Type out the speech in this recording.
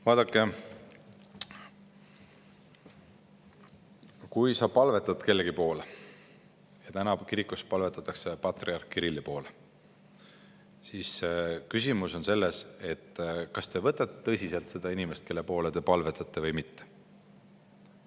Vaadake, kui sa palvetad kellegi poole – ja praegu kirikus palvetatakse patriarh Kirilli poole –, siis küsimus on selles, kas te võtate tõsiselt seda inimest, kelle poole te palvetate või mitte.